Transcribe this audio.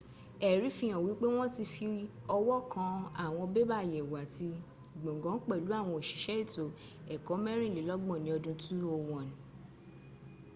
ẹ̀rí fi hàn wípé wọn ti fi ọwọ́ kan àwọn bébà àyẹ̀wò àti gbọǹgàn pẹ̀lú àwọn òṣìṣẹ́ ètò ẹ̀kọ́ mẹ́rìnlelọ́gbọ̀n ní ọdún 201